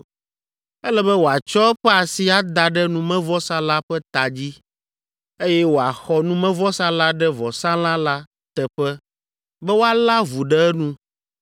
Ele be wòatsɔ eƒe asi ada ɖe numevɔsa la ƒe ta dzi, eye woaxɔ numevɔsa la ɖe vɔsalã la teƒe be wòalé avu ɖe enu.